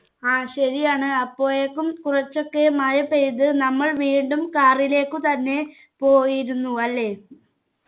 ആ ശരി ആണ് അപ്പോഴേക്കും കുറച്ചൊക്കെ മഴ പെയ്ത് നമ്മൾ വീണ്ടും car ഇലേക്കു തന്നെ പോയിരുന്നു അല്ലെ